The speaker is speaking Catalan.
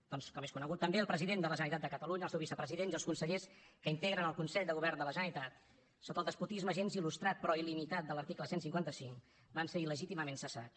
doncs com és conegut també el president de la generalitat de catalunya el seu vicepresident i els consellers que integren el consell de govern de la generalitat sota el despotisme gens il·lustrat però il·limitat de l’article cent i cinquanta cinc van ser il·legítimament cessats